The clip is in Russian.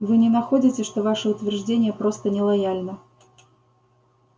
вы не находите что ваше утверждение просто нелояльно